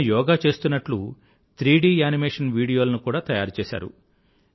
నేను యోగా చేస్తున్నట్లు 3డి యానిమేషన్ వీడియోలను కూడా తయారుచేసారు